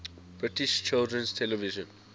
british children's television